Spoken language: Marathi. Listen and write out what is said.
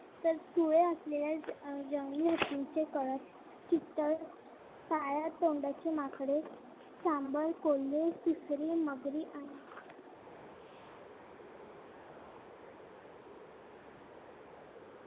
तर सुळे असलेल्या जंगली हत्तीचे कळप काळ्या तोंडाची माकडे सांबर कोल्हे सुसरी मगरी